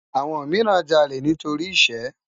Awòn mirán jàlé nitóri iṣë